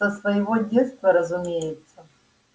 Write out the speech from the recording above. со своего детства разумеется